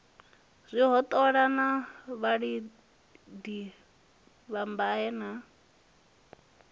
zwihoṱola na vhalidi vhadabe na